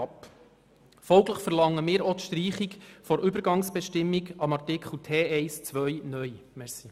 Als Folge davon lehnen wir auch die Streichung der Übergangsbestimmung, Artikel T1-2 (neu) ab.